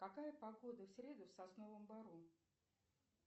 какая погода в среду в сосновом бору